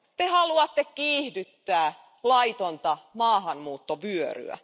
Te haluatte kiihdyttää laitonta maahanmuuttovyöryä.